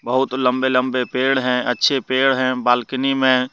बहुत लंबे लंबे पेड़ हैं। अच्छे पेड़ हैं बालकनी में ।